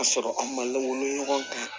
K'a sɔrɔ an ma lagolo ɲɔgɔn kan